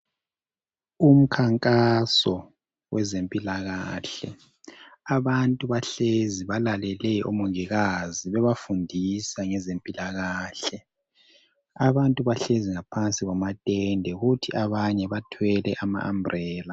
Umkhankaso wezempilakahle abantu bahlezi balalele umongikazi bebafundisa ngezempilakahle abantu bahlezi ngaphansi kwamatende kuthi abanye ama umbrella.